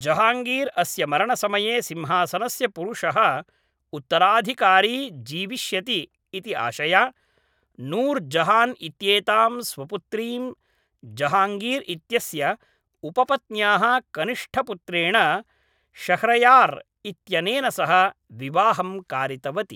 जहाङ्गीर् अस्य मरणसमये सिंहासनस्य पुरुषः उत्तराधिकारी जीविष्यति इति आशया, नूर् जहान् इत्येतां स्वपुत्रीं जहाङ्गीर् इत्यस्य उपपत्न्याः कनिष्ठपुत्रेण शह्र्यार् इत्यनेन सह विवाहं कारितवती।